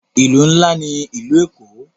Ìlú ńlá ní ìlú Èkó.